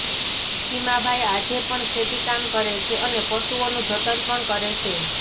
ખીમાભાઈ આજે પણ ખેતી કામ કરે છે અને પશુઓનું જતન પણ કરે છે